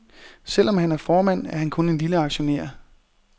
Selv om han er formand, er han kun en lille aktionær.